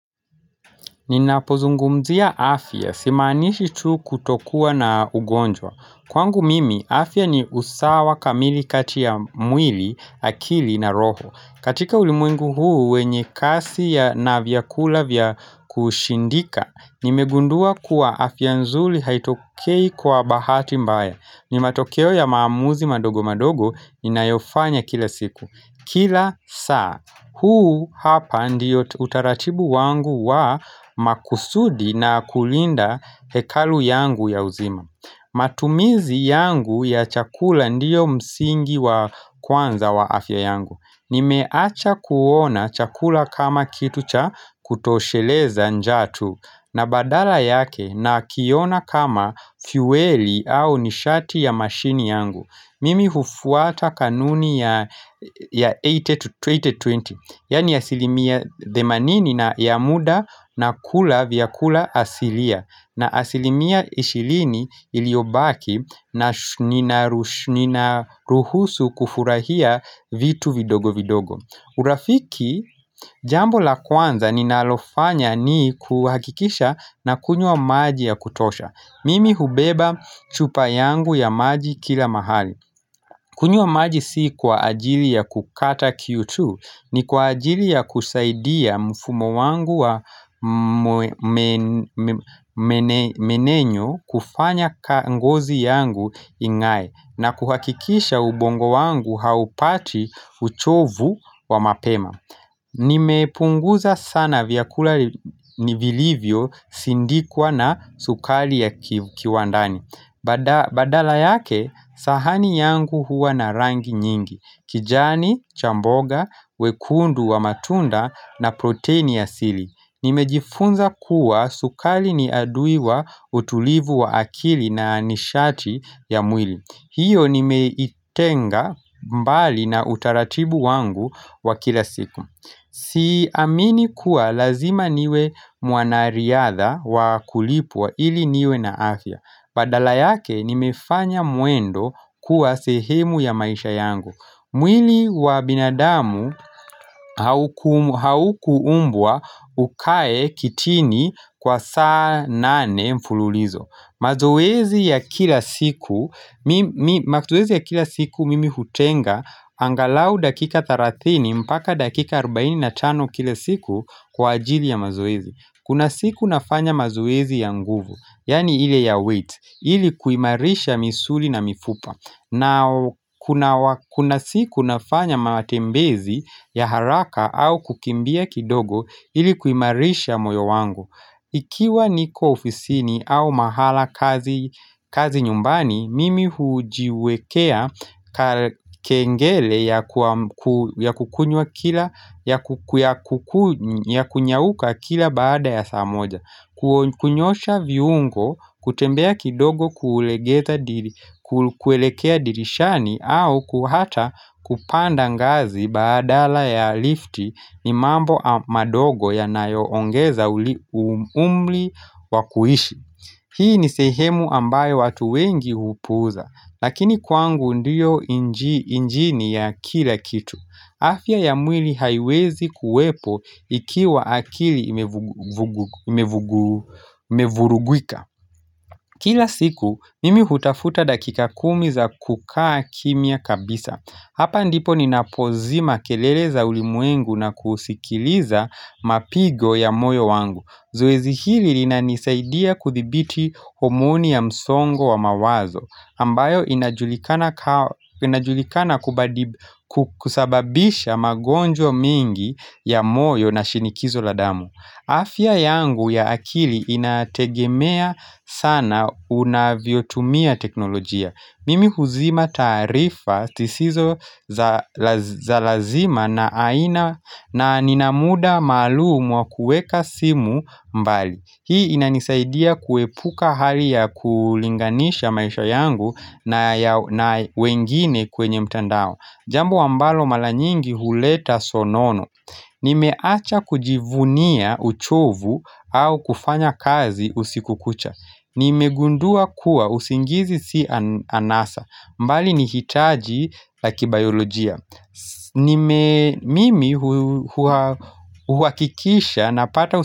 Ninapozungumzia afya simaanishi tu kutokuwa na ugonjwa. Kwangu mimi afya ni usawa kamili kati mwili, akili na roho. Katika ulimwengu huu wenye kasi ya na vyakula vya kusindika, nimegundua kuwa afya nzuri haitokei kwa bahati mbaya. Ni matokeo ya maamuzi madogo madogo inayofanya kila siku kila saa, huu hapa ndiyo utaratibu wangu wa makusudi na kulinda hekalu yangu ya uzima matumizi yangu ya chakula ndiyo msingi wa kwanza wa afya yangu. Nimeacha kuona chakula kama kitu cha kutosheleza njaa tu. Na badala yake nakiona kama fueli au nishati ya mashini yangu. Mimi hufuata kanuni ya 80 to 80 20 yaani asilimia themanini na ya muda nakula vyakula asilia. Na asilimia ishirini iliyobaki ninaruhusu kufurahia vitu vidogo vidogo. Urafiki jambo la kwanza ninalofanya ni kuhakikisha nakunywa maji ya kutosha Mimi hubeba chupa yangu ya maji kila mahali kunywa maji si kwa ajili ya kukata kiu tu. Ni kwa ajili ya kusaidia mfumo wangu wa mmeng'enyo kufanya ngozi yangu ingae. Na kuhakikisha ubongo wangu haupati uchovu wa mapema Nimepunguza sana vyakula vilivyosindikwa na sukari ya kiwandani Badala yake sahani yangu huwa na rangi nyingi, kijani cha mboga, wekundu wa matunda na protein asili. Nimejifunza kuwa sukari ni adui wa utulivu wa akili na nishati ya mwili. Hiyo nimeitenga mbali na utaratibu wangu wa kila siku Siamini kuwa lazima niwe mwanariadha wa kulipwa ili niwe na afya. Badala yake nimefanya mwendo kuwa sehemu ya maisha yangu. Mwili wa binadamu haukuumbwa ukae kitini kwa saa nane mfululizo. Mazoezi ya kila siku mimi hutenga angalau dakika 30 mpaka dakika 45 kila siku kwa ajili ya mazoezi Kuna siku nafanya mazoezi ya nguvu, yaani ile ya weight, ili kuimarisha misuli na mifupa na kuna siku nafanya matembezi ya haraka au kukimbia kidogo ili kuimarisha moyo wangu Ikiwa niko ofisini au mahala kazi, nyumbani, mimi hujiwekea kengele ya kunyanyuka kila baada ya saa moja. Kunyoosha viungo, kutembea kidogo kuelekea dirishani, au hata kupanda ngazi badala ya lift ni mambo madogo yanayoongeza umri wa kuishi Hii ni sehemu ambayo watu wengi hupuuza lakini kwangu ndiyo injini ya kila kitu afya ya mwili haiwezi kuwepo ikiwa akili imevurugika. Kila siku, mimi hutafuta dakika kumi za kukaa kimya kabisa. Hapa ndipo ninapozima kelele za ulimwengu na kusikiliza mapigo ya moyo wangu. Zoezi hili linanisaidia kudhibiti homoni ya msongo wa mawazo ambayo inajulikana kusababisha magonjwa mengi ya moyo na shinikizo la damu afya yangu ya akili inategemea sana unavyotumia teknolojia. Mimi huzima taarifa zisizo za lazima na nina muda maalumu wa kuweka simu mbali. Hii inanisaidia kuepuka hali ya kulinganisha maisha yangu na wengine kwenye mtandao. Jambo ambalo mara nyingi huleta sonono Nimeacha kujivunia uchovu au kufanyakazi usiku kucha. Nimegundua kuwa usingizi si anasa bali ni hitaji la kibaiolojia. Mimi huhakikisha napata usingizi.